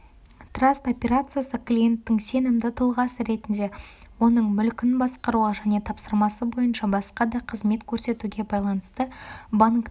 траст операциясы клиенттің сенімді тұлғасы ретінде оның мүлкін басқаруға және тапсырмасы бойынша басқа да қызмет көрсетуге байланысты банктің